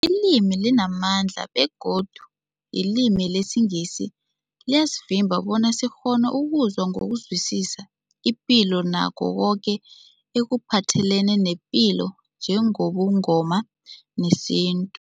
Ilimi limamandla begodu ilimi lesiNgisi liyasivimba bona sikghone ukuzwa nokuzwisisa ipilo nakho koke ekuphathelene nepilo njengobuNgoma nesintu.